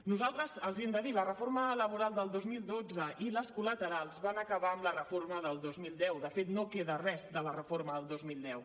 nosaltres els hi hem de dir la reforma laboral del dos mil dotze i les colaterals van acabar amb la reforma del dos mil deu de fet no queda res de la reforma del dos mil deu